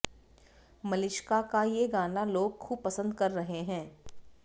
मलिष्का का ये गाना लोग खूब पसंद कर रहे हैं